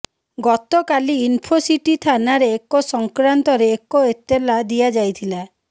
ଗତକାଲି ଇନଫୋସିଟି ଥାନାରେ ଏ ସଂକ୍ରାନ୍ତରେ ଏକ ଏତଲା ଦିଆଯାଇଥିଲା